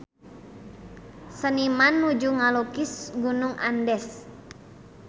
Seniman nuju ngalukis Gunung Andes